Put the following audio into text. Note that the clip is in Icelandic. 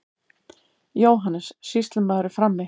JÓHANNES: Sýslumaður er frammi.